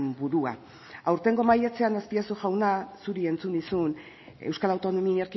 burua aurtengo maiatzean azpiazu jauna zuri entzun nizun euskal autonomia